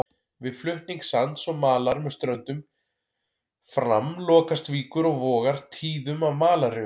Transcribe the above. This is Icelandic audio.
Við flutning sands og malar með ströndum fram lokast víkur og vogar tíðum af malarrifum.